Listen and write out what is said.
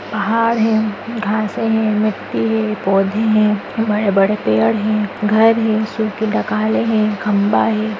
पहाड़ हें घांसे हें मिट्टी हे पौधे हें बड़े-बड़े पेड़ हें घर हें सुखी डाकाले हें खंबा हे।